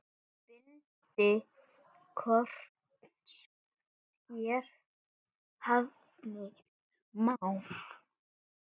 Bindi korns hér nefna má.